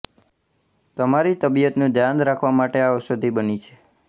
તમારી તબિયતનું ધ્યાન રાખવા માટે આ ઔષધી બની છે